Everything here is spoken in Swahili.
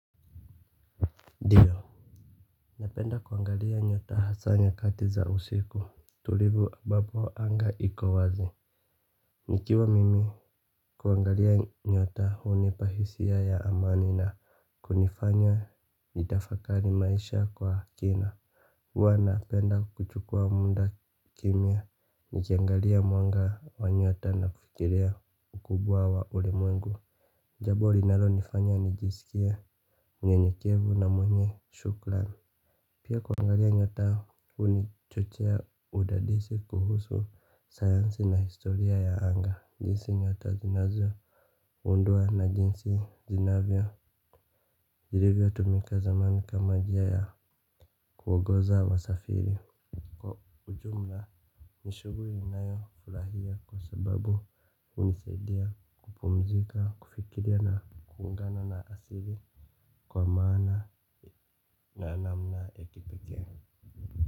Ndio, napenda kuangalia nyota hasa nyakati za usiku tulivu ambapo anga iko wazi. Nikiwa mimi kuangalia nyota hunipa hisia ya amani na kunifanya nitafakari maisha kwa kina. Huwa napenda kuchukua muda kimya, nikiangalia mwanga wa nyota na kufikiria ukubwa wa ulimwengu. Jambo linalonifanya nijisikie nyenyekevu na mwenye shukran. Pia kuangalia nyota hunichochea udadisi kuhusu sayansi na historia ya anga jinsi nyota zinazo gundua na jinsi zinavyo jiriga tumika zamani kama njia ya kuongoza wasafiri kwa ujumla. Nishughuli ninayo furahia kwa sababu hunisaidia kupumzika kufikiria na kuungana na asili kwa maana na namna ya kipekee Muzika.